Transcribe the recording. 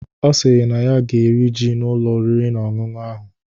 Ọ sịrị na ya ga-eri ji n'Ụlọ oriri na ọṅụṅụ ahụ.